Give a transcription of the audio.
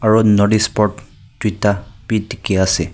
aru notice board duita bi dikhi ase.